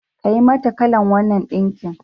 Kayi mata kalan wannan ɗinkin.